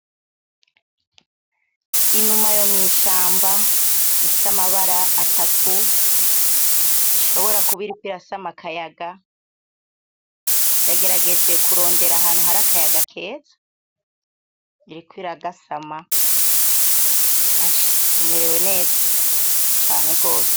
Inuma yo mwishamba ifise amabara atatu ishobora kuba iriko irasama akayaga. Yagerageje kurondera ahantu hari akayaga keza, iriko iragasama. Asha imerewe neza cane gose.